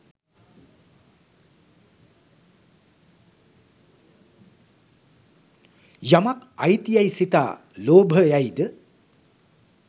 යමක් අයිති යැයි සිතා ලෝභ යයි ද